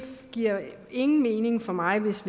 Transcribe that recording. giver ingen mening for mig hvis